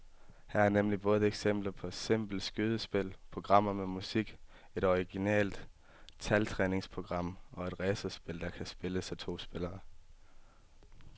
Her er nemlig både eksempler på simple skydespil, programmer med musik, et originalt taltræningsprogram og et racerspil, der kan spilles af to spillere.